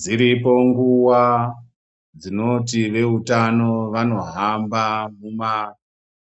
Dziripo nguwa dzinoti veutano vanohamba muma